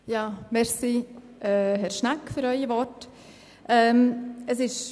Danke für Ihre Worte, Herr Schnegg.